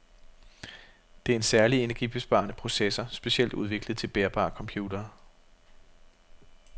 Det er en særlig energibesparende processor, specielt udviklet til bærbare computere.